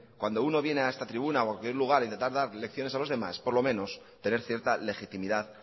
cuando uno viene a esta tribuna o a cualquier lugar a intentar dar lecciones a los demás por lo menos tener cierta legitimidad